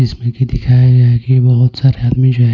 इसमें कि दिखाया गया है कि बहुत सारे आदमी जो है.